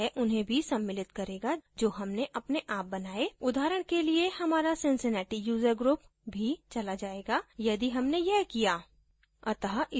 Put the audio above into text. यह उन्हें भी सम्मिलित करेगा जो हमने अपने आप बनाये उदाहरण के लिएहमारा cincinnati user group भी चला जायेगा यदि हमने यह किया